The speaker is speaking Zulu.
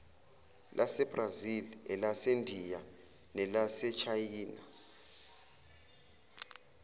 lasebrazil elasendiya nelasechina